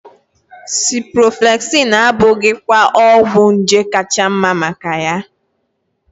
Ciprofloxacin abụghị ọgwụ nje kacha mma maka ya?